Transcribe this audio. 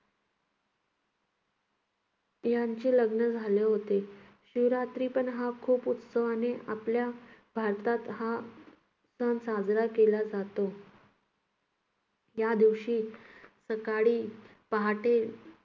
यांचे लग्न झाले होते. शिवरात्री पण हा खूप उत्साहाने आपल्या भारतात हा सण साजरा केला जातो. या दिवशी सकाळी पहाटे